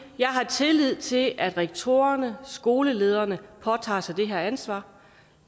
jeg har tillid til at rektorerne skolelederne påtager sig det her ansvar